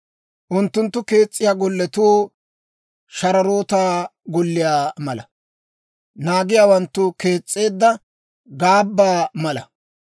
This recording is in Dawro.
Unttunttu kees's'iyaa golletuu shararootaa golliyaa mala; naagiyaawanttu kees's'eedda gaabbaa mala.